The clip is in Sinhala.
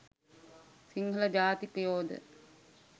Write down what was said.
සිංහල ජාතිකයෝ ද